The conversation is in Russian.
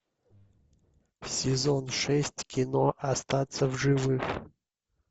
сезон шесть кино остаться в живых